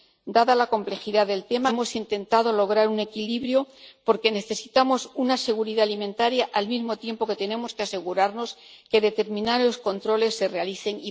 Dada la complejidad del tema, hemos intentado lograr un equilibrio, porque necesitamos seguridad alimentaria al mismo tiempo que tenemos que asegurarnos de que determinados controles se realicen.